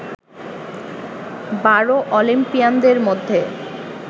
বারো অলিম্পিয়ানদের মধ্যে